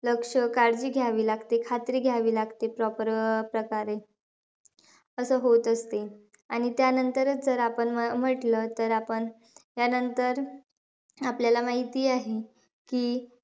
लक्ष काळजी घायवी लागते, खात्री घ्यावी लागते proper अं प्रकारे. असं होत असते. आणि त्यांनतरचं जर आपण म्हणलं, तर आपण. त्यांनतर आपल्याला माहिती आहे की,